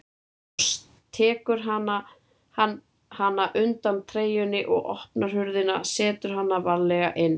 Svo tekur hann hana undan treyjunni, opnar hurðina og setur hana varlega inn.